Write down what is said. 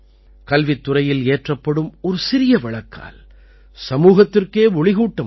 கல்வித் துறையில் ஏற்றப்படும் ஒரு சிறிய விளக்கால் சமூகத்திற்கே ஒளிகூட்ட முடியும்